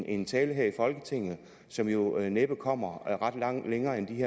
en tale her i folketinget som jo næppe kommer længere end